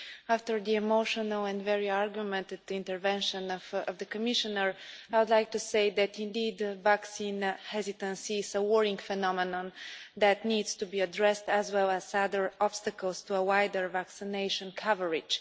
After the emotional and very argumented intervention of the Commissioner, I would like to say that, indeed, vaccine hesitancy is a worrying phenomenon that needs to be addressed, as well as other obstacles to a wider vaccination coverage.